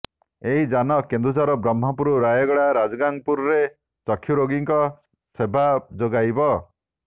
ଏହି ଯାନ କେନ୍ଦୁଝର ବ୍ରହ୍ମପୁର ରାୟଗଡା ରାଜଗାଙ୍ଗପୁରରେ ଚକ୍ଷୁ ରୋଗୀଙ୍କୁ ସେବା ଯୋଗାଇବ